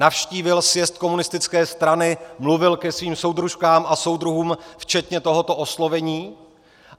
Navštívil sjezd komunistické strany, mluvil ke svým soudružkám a soudruhům včetně tohoto oslovení.